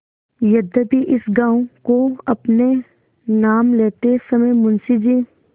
यद्यपि इस गॉँव को अपने नाम लेते समय मुंशी जी